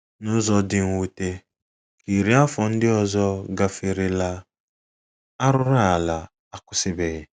N’ụzọ dị mwute, ka iri afọ ndị ọzọ gaferela, arụrụala akwụsịbeghị.